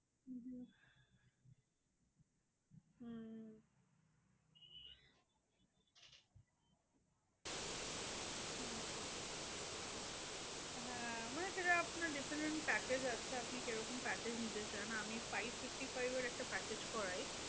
হ্যাঁ মানে সেটা আপনার different package আছে। আপনি কিরকম package নিতে চান? আমি five fifty-five এর একটা package করাই।